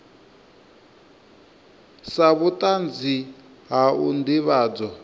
sa vhutanzi ha u ndivhadzo